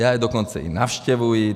Já je dokonce i navštěvuji.